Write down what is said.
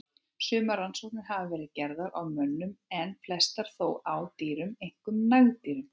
Sumar rannsóknir hafa verið gerðar á mönnum en flestar þó á dýrum, einkum nagdýrum.